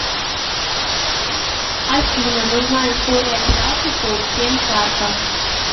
афина нужна история операций по всем картам